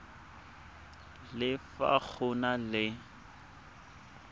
le fa go na le